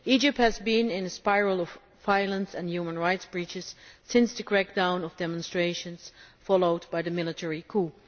Egypt has been in a spiral of violence and human rights breaches since the crackdown on demonstrations followed by the military coup.